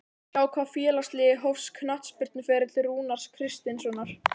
Hjá hvaða félagsliði hófst knattspyrnuferill Rúnars Kristinssonar?